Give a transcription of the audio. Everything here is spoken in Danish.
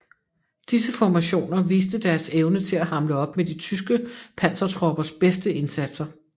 Disse formationer viste deres evne til at hamle op med de tyske pansertroppers bedste indsatser